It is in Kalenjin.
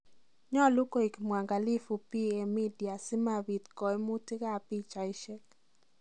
Nyoluu koek mwangalifu PA Media simapiit koimuutik ab pichaisiek.